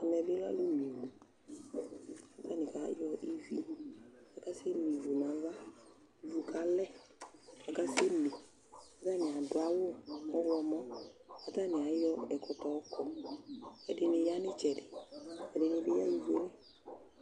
Ɛmɛ bɩ lɛ alʋme ivu kʋ atanɩ kayɔ ivi kʋ akasɛme ivu nʋ ava Ivu kalɛ kʋ akasɛme kʋ atanɩ adʋ awʋ ɔɣlɔmɔ kʋ atanɩ ayɔ ɛkɔtɔ yɔkɔ kʋ ɛdɩnɩ ya nʋ ɩtsɛdɩ Ɛdɩnɩ bɩ yaɣa ivu yɛ li